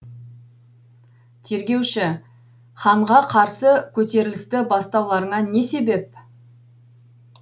тергеуші ханға қарсы көтерілісті бастауларыңа не себеп